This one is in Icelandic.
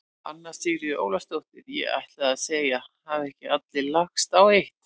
Anna Sigríður Ólafsdóttir: Ég ætlaði að segja: Hafa ekki allir lagst á eitt?